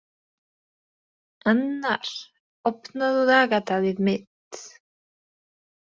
Annarr, opnaðu dagatalið mitt.